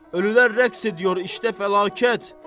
Ölülər rəqs ediyor, işdə fəlakət.